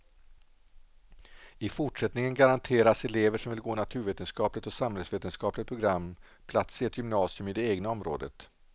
I fortsättningen garanteras elever som vill gå naturvetenskapligt och samhällsvetenskapligt program plats i ett gymnasium i det egna området.